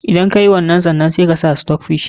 Idan ka yi wannan, sai kuma ka sa stockfish.